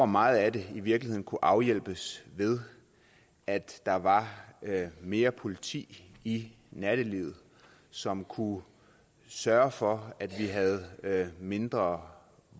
meget af det i virkeligheden kunne afhjælpes ved at der var mere politi i nattelivet som kunne sørge for at vi havde mindre